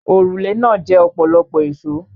Òrùlé náà jẹ ọ̀pọ̀lọpọ̀ èsòó.